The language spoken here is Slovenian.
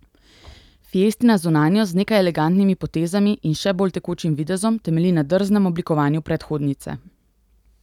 Fiestina zunanjost z nekaj elegantnimi potezami in še bolj tekočim videzom temelji na drznem oblikovanju predhodnice.